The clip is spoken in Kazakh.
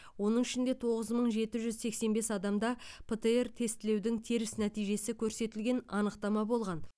оның ішінде тоғыз мың жеті жүз сексен бес адамда птр тестілеудің теріс нәтижесі көрсетілген анықтама болған